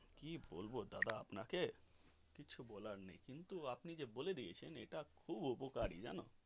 কি বলবো দাদা আপনাকে কিছু বলার নেই কিন্তু আপনি যে বলে দিয়েছেন এটা খুব উপকারী জানো.